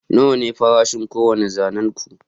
nawa ne farashin kowane zanen ku